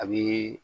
A bɛ